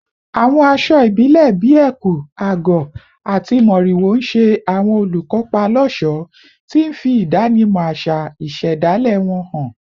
Àwọn aṣọ ìbílẹ̀ bíi ẹ̀kú/àgọ̀ àti mòrìwò ń ṣe àwọn olùkópa lọ́ṣọ̀ọ́, tí ń fi ìdánimọ̀ àṣà ìṣẹ̀dálẹ̀ wọn hàn.